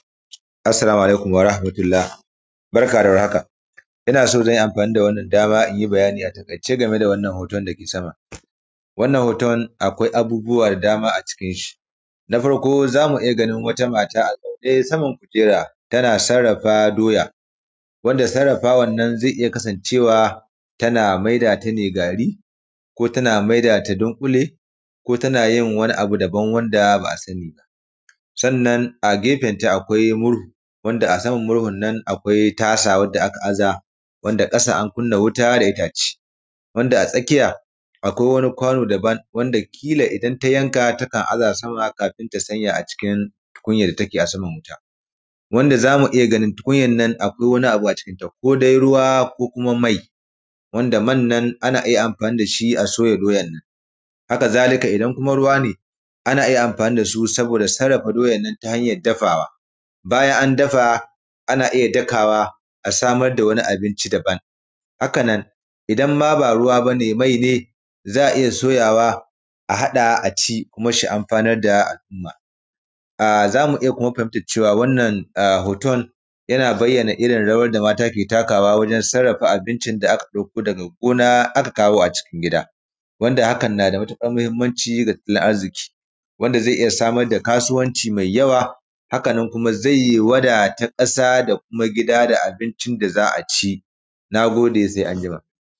Assalamu alaikum warahamatullahi barka da war haka ina so zan yi amfani da wannan dama in yi bayani a takaice game da wannan hoton. wannan hoto akwai abubuwa da dama a cikin shi, na farko za mu iya gani wata mata a zaune a saman kujera tana sarrafa doya, Wanda sarrafawan nan zai iya kasance:wa tana a maida ta ne gari ko tana a mai da ta dunƙule ko tana maida ta wani abu daban wanda ba a sani ba. Sannan a gefenta akwai murhu akwai wani kwano da aka aza wanda ƙasa an kuna wuta da itace. Akwai wani kwano daban wanda kila in ta yanka takan aza kafin ta sanya a cikin tukunyar da take a saman wuta wansa za mu iya ganin tukunyar na. Akwai wani abu a cikinta, akwai ruwa ko kuma: mai wanda man nan ana iya amfani da shi a soya doyan nan. haka zalika idan kuma: ruwa ne ana amfani da su don sarrafa doyan nan ta hanyar dafawa idan an dafa ana iya dakawa don a samar da wani abinci. Haka nan idan ma ba ruwa ba ne mai ne za a iya soyawa a hada a ci kuma: su amfanar da al'umma. Za mu iya fahimtar cewa wannan hoton yana bayanar irin rawar da mata ke takawa wajen irin sarrafa abincin daga go:na: aka kawo a cikin gida, hakan na da matuƙar muhimmanci ga tattalin arziki wanda zai iya kasuwanci da yawa kuma: zai wadata ƙasa da kuma: gida da abincin da za a ci na gode sai anjima.